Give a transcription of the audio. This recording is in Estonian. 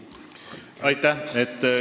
Aitäh!